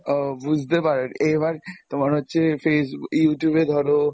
ও বুঝতে পারলাম এবার, তোমার হচ্ছে facebook Youtube এ ধরো,